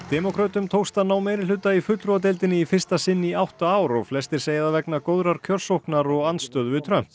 demókrötum tókst að ná meirihluta í fulltrúadeildinni í fyrsta sinn í átta ár og flestir segja það vegna góðrar kjörsóknar og andstöðu við Trump